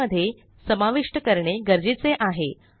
file मध्ये समाविष्ट करणे गरजेचे आहे